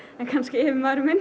en kannski yfirmaðurinn minn